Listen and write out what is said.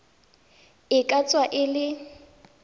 e ka tswa e le